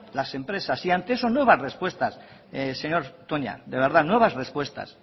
las empresas y ante eso nuevas respuestas señor toña de verdad nuevas respuestas